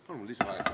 Palun lisaaega!